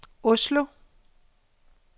Oslo